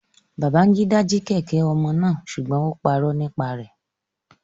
Babangida ji kẹ̀kẹ́ omo naa sugbon o puro nipa rẹ